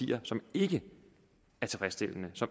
ikke